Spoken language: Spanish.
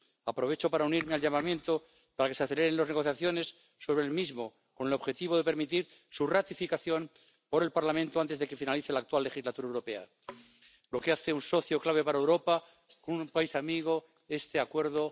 Aprovecho para unirme al llamamiento para que se aceleren las negociaciones sobre el Acuerdo, con el objetivo de permitir su ratificación por el Parlamento antes de que finalice la actual legislatura europea, lo que hace de él un socio clave para Europa, un país amigo. Este Acuerdo mejorado es bueno para ambas partes.